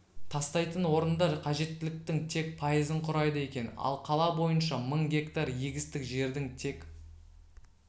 тастайтын орындар қажеттіліктің тек пайызын құрайды екен ал қала бойынша мың гектар егістік жердің тек